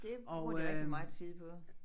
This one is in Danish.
Det bruger de rigtig meget tid på